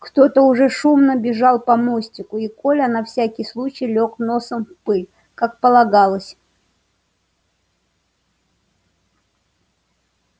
кто то уже шумно бежал по мосту и коля на всякий случай лёг носом в пыль как полагалось